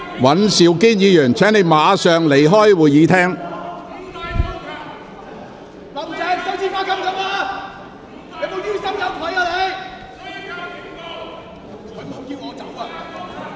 尹兆堅議員，請你立即離開會議廳。